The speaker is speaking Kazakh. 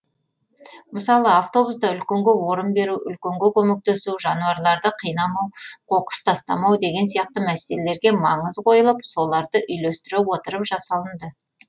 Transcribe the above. мысалы автобуста үлкенге орын беру үлкенге көмектесу жануарларды қинамау қоқыс тастамау деген сияқты мәселелерге маңыз қойылып соларды үйлестіре отырып жасалынды